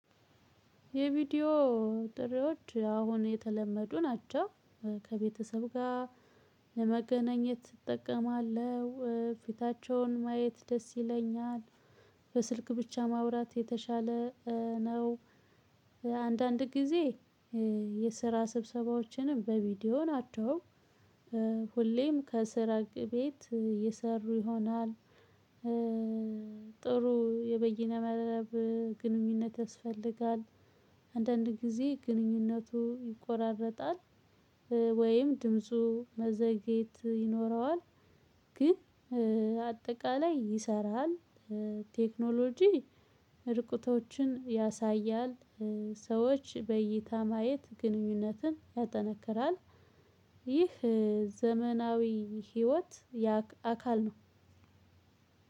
የቪዲዮ ጥሪዎች አሁን የተለመዱ ናቸው ከቤተሰብ ጋር ለመገናኘት እጠቀማለሁ ፊታቸውን ማየት ደስ ይለኛል። በስልክ ብቻ ማውራት የተሻለ ነው። አንዳንድ ጊዜ የስራ ስብሰባዎችንም በቪድዖ ናቸው። ሁሌም ከስራ ቤት የሰሩ ይሆናል። ጥሩ የበይነ መረብ ግንኙነት ያስፈልጋል። አንዳንድ ጊዜ ግንኙነቱ ይቆራረጣል። ወይም ድምፁ መዘግየት ይኖረዋል። ግን አጠቃላይ ይሰራል። ቴክኖሎጂ ርቀቶችን ያሳያል። ሰዎች በይታ ማየት ግንኙነትን ያጠነክራል። ይህ ዘመናዊ ህይወት አካል ነው።